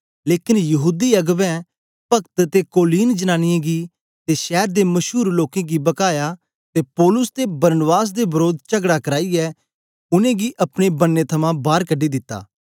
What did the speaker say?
लेकन यहूदी अगबें पक्त ते कोलीन जनांनीयें गी ते शैर दे मशूर लोकें गी बकाया ते पौलुस ते बरनबास दे वरोध चगड़ा कराईयै उनेंगी अपने बन्ने थमां बार कढी दिता